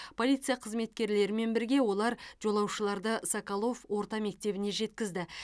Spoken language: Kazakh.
полиция қызметкерлерімен бірге олар жолаушыларды соколов орта мектебіне жеткізді